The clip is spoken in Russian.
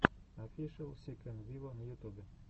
офишел си кэн виво на ютубе